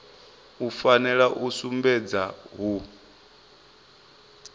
u fanela u sumbedza hu